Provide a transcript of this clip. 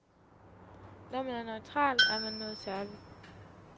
Når man er neutral, er man noget særligt.